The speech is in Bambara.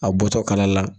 A bɔtɔ kala la